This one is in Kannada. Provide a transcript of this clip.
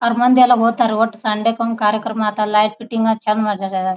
ಅವರ್ ಮಂದಿಯೆಲ್ಲ ಹೋಕ್ತಾರಿ ಒಟ್ ಸಂಡೆ ಕಾರ್ಯಕ್ರಮಕ್ಕೆ ಲೈಟ್ ಫೈಟಿಂಗ್ ಚಂದ್ ಮಾಡರೇ.